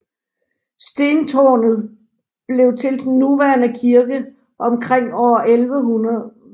Stentårnet blev til den nuværende kirke omkring år 1100